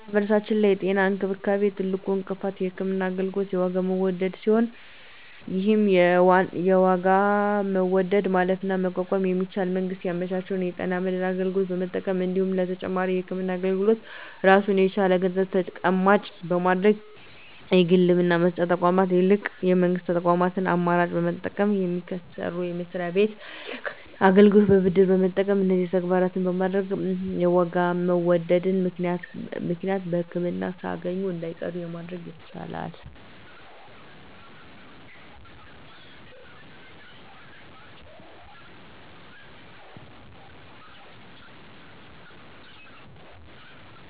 በማህበረሰባችን ላይ የጤና እንክብካቤ ትልቁ እንቅፋት የህክምና አገልግሎት የዋጋ መወደድ ሲሆን ይህን የዋጋ መወደድ ማለፍና መቋቋም የሚቻለው መንግስት ያመቻቸውን የጤና መድን አገልግሎት በመጠቀም እንዲሁም ለተጨማሪ የህክምና አገልግሎት ራሱን የቻለ ገንዘብ ተቀማጭ በማድረግ ከግል የህክምና መስጫ ተቋማት ይልቅ የመንግስት ተቋማትን አማራጭ በመጠቀምና ከሚሰሩበት መስሪያ ቤት ለህክምና አገልግሎት ብድር በመጠየቅ እነዚህን ተግባራት በማድረግ በዋጋ መወደድ ምክንያት ህክምና ሳያገኙ እንዳይቀሩ ማድረግ ይቻላል።